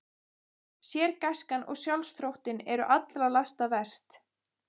Sérgæskan og sjálfsþóttinn eru allra lasta verst.